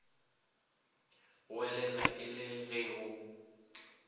goelela e le ge go